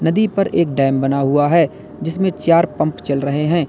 नदी पर एक डैम बना हुआ है जिसमें चार पंप चल रहे हैं।